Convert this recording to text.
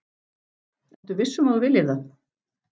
Ertu viss um að þú viljir það?